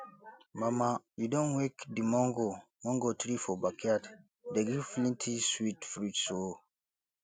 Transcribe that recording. mama you don wake the mango mango tree for backyard dey give plenty sweet fruits um o